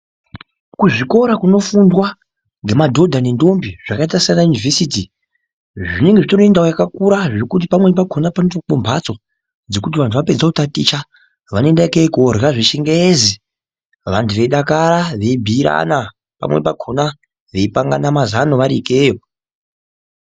Kuzvikora kunofundwa ngemadhodha nendombi zvakaita sanayunivhesiti zvinenge zvitori nendau yakakura zvekuti pamweni pakhona panotoakwe mhatso dzekuti antu apedze kutaticha vanoenda kei korye zvechingezi, vantu veidakara veibhiirana pamweni pakhona veipangana mazano varikeyo.